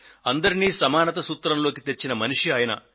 అందరినీ సమానత సూత్రంలోకి తెచ్చిన మనిషి ఆయన